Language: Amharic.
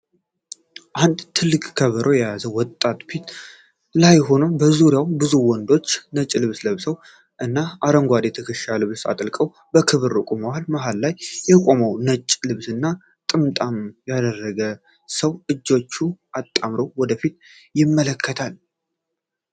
አንድ ትልቅ ከበሮ የያዘ ወጣት ፊት ላይ ሆኖ፣ በዙሪያው ብዙ ወንዶች ነጭ ልብስ ለብሰው እና አረንጓዴ የትከሻ ልብስ አጥልቀው በክብር ቆመዋል። መሀል ላይ የቆመው ነጭ ልብስና ጥምጣም ያደረገው ሰው እጆቹን አጣምሮ ወደ ፊት ይመለከታል።